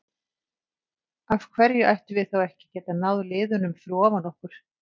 Af hverju ættum við þá ekki að geta náð liðunum fyrir ofan okkur?